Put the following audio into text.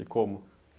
E como?